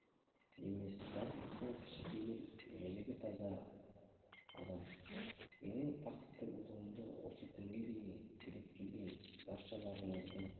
емес бастысы кішіпейіл жүрегі таза адам менің бақытты болуымды осы күнге дейін тілеп келген баршаларыңыздың